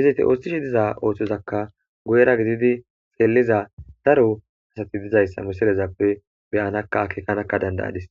hizoti ooththishe diza ooththozakka gu7era gididi xeelliza daro asati dizayssa misilezappe beyanakka akeekanakka dandayadis